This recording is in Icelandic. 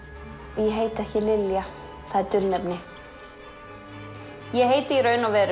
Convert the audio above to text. ég heiti ekki Lilja það er dulnefni ég heiti í raun og veru